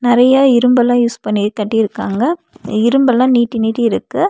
நெறயா இரும்பல்லா யூஸ் பண்ணி கட்டீர்க்காங்க இரும்பல்லா நீட்டி நீட்டி இருக்கு.